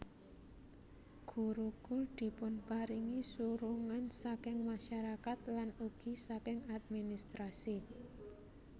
Gurukul dipunparingi surungan saking masyarakat lan ugi saking administrasi